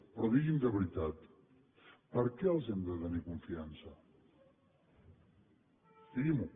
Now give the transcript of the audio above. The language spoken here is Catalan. però digui’m de veritat per què els hem de tenir confiança digui m’ho